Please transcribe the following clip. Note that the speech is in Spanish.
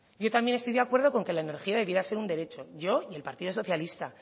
yo también estoy de acuerdo con que la energía debería ser un derecho yo y el partido socialista